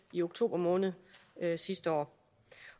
i oktober måned sidste år